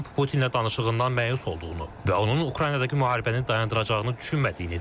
Tramp Putinlə danışığından məyus olduğunu və onun Ukraynadakı müharibəni dayandıracağını düşünmədiyini deyib.